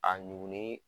A ɲugu ni